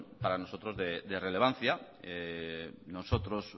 para nosotros de relevancia nosotros